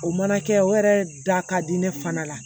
O mana kɛ o yɛrɛ da ka di ne fana la